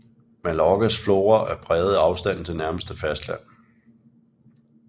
Mallorcas flora er præget af afstanden til nærmeste fastland